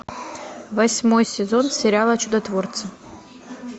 восьмой сезон сериала чудотворцы